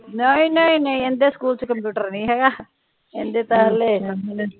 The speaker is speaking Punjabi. ਨਹੀਂ ਨਹੀਂ ਨਹੀਂ ਏਦੇ ਸਕੂਲ ਚ ਕੰਪਿਊਟਰ ਨਹੀਂ ਹੇਗਾ ਏਦੇ ਤਾ ਹਾਲੇ